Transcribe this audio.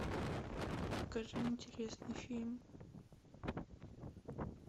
покажи интересный фильм